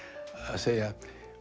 að segja